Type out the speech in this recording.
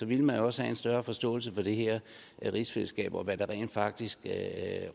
ville man også have en større forståelse for det her rigsfællesskab og for hvad der rent faktisk